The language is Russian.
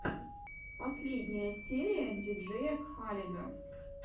последняя серия диджея кхаледа